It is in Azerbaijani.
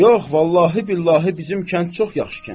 Yox, vallahi billahi bizim kənd çox yaxşı kənddir.